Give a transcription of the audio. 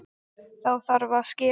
Þá þarf að skera.